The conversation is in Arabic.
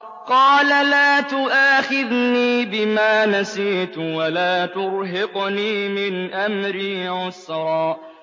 قَالَ لَا تُؤَاخِذْنِي بِمَا نَسِيتُ وَلَا تُرْهِقْنِي مِنْ أَمْرِي عُسْرًا